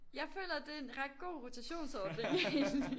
Jeg føler det er en ret god rotationsordning egentlig